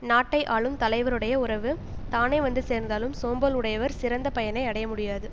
நாட்டை ஆளும் தலைவருடைய உறவுத் தானே வந்து சேர்ந்தாலும் சோம்பல் உடையவர் சிறந்த பயனை அடைய முடியாது